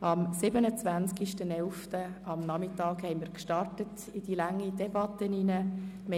Am 27. November nachmittags sind wir in diese lange Debatte eingestiegen.